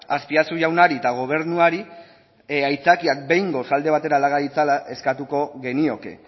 azpiazu jaunari eta gobernuari aitzakiak behingoz alde batera laga ditzala eskatuko genioke